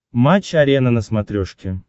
матч арена на смотрешке